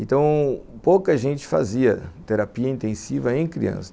Então, pouca gente fazia terapia intensiva em criança.